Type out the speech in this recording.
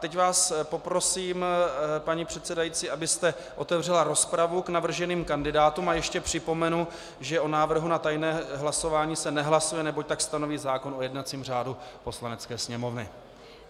Teď vás poprosím, paní předsedající, abyste otevřela rozpravu k navrženým kandidátům, a ještě připomenu, že o návrhu na tajné hlasování se nehlasuje, neboť tak stanoví zákon o jednacím řádu Poslanecké sněmovny.